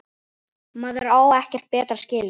Maður á ekkert betra skilið.